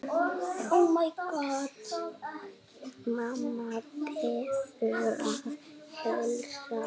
Mamma biður að heilsa.